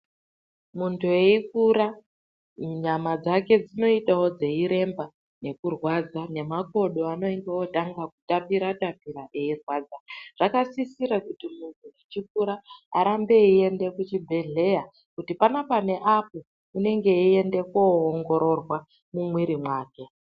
Muntu eyikura nyama dzake dzinoitawo dzeyiremba nekurwadza nemakodo anenge otanga kutapira tapira eyirwadza zvakasisira kuti muntu achikura arambe eyiiende kuchibhedhlera kuti panapa neapo unenge eyienda koongororwa mumwiri mwake.